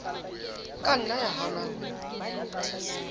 ka nna ya hana ho